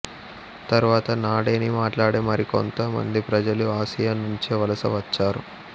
తర్వాత నాడెనీ మాట్లాడే మరికొంత మంది ప్రజలు ఆసియా నుంచే వలసవచ్చారు